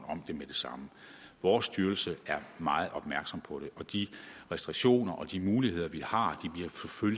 om det med det samme vores styrelse er meget opmærksom på det og de restriktioner og de muligheder vi har